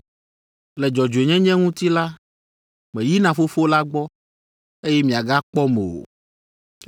Le dzɔdzɔenyenye ŋuti la, meyina Fofo la gbɔ, eye miagakpɔm o,